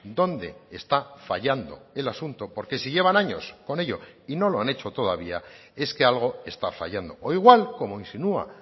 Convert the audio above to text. dónde está fallando el asunto porque si llevan años con ello y no lo han hecho todavía es que algo está fallando o igual como insinúa